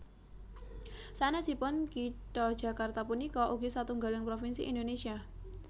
Sanèsipun kitha Jakarta punika ugi satunggaling provinsi Indonésia